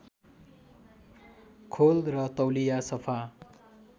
खोल र तौलिया सफा